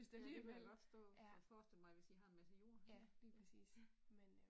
Ej det kan jeg da godt forstå. Jeg forestiller mig, hvis I har en masse jord nå ja